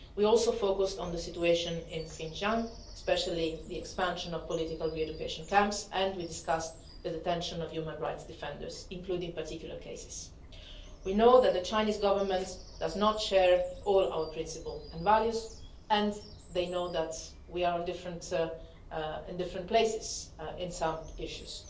system. We also focused on the situation in Xinjiang, especially the expansion of political re education camps, and we discussed the detention of human rights defenders, including particular cases. We know that the Chinese Government does not share all our principles and values and they know that we are in different places in some